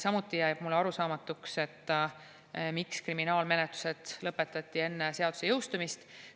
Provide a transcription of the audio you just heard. Samuti jääb mulle arusaamatuks, miks kriminaalmenetlused lõpetati enne seaduse jõustumist.